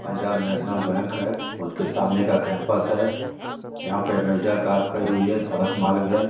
Punjab national bank है। उसके सामने का कैंपस है। यहाँ पे कार खड़ी हुई है। सडक मार्ग है।